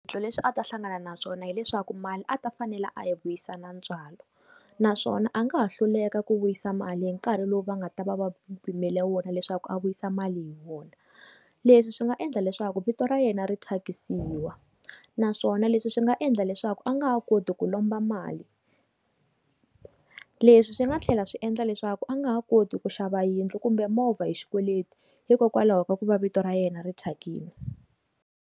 Swiphiqo leswi a ta hlangana naswona hileswaku mali a ta fanela a hi vuyisa na ntswalo naswona a nga ha hluleka ku vuyisa mali hi nkarhi lowu va nga ta va va pimele wona leswaku a vuyisa mali hi wona leswi swi nga endla leswaku vito ra yena ri thyakisiwa naswona leswi swi nga endla leswaku a nga ha koti ku lomba mali. Leswi swi nga tlhela swi endla leswaku a nga ha koti ku xava yindlu kumbe movha hi xikweleti hikokwalaho ka ku va vito ra yena ri thyakini.